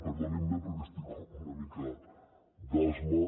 perdonin me perquè estic amb una mica d’asma